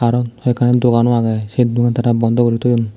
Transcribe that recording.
aron hoi ekkani dogan uh ageh sei dogan tara bondoh gori toyun.